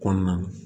Kɔnɔna na